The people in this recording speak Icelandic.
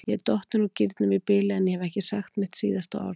Ég er dottin úr gírnum í bili, en ég hef ekki sagt mitt síðasta orð.